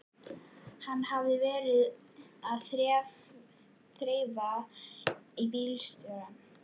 Hann hafði verið að þrefa við bílstjórana.